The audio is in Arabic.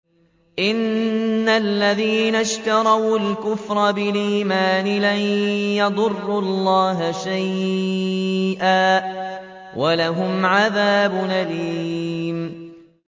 إِنَّ الَّذِينَ اشْتَرَوُا الْكُفْرَ بِالْإِيمَانِ لَن يَضُرُّوا اللَّهَ شَيْئًا وَلَهُمْ عَذَابٌ أَلِيمٌ